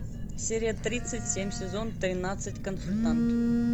серия тридцать семь сезон тринадцать консультант